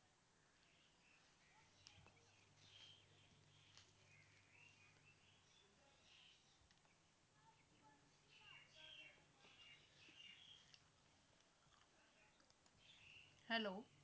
hello